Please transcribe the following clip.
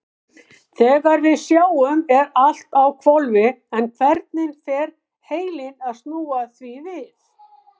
Þegar við sjáum er allt á hvolfi en hvernig fer heilinn að snúa því við?